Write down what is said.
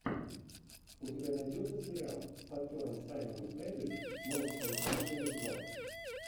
у тебя найдется сериал с актером саймоном пеггом монстры на каникулах два